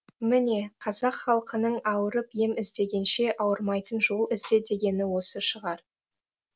міне қазақ халқының ауырып ем іздегенше ауырмайтын жол ізде дегені осы шығар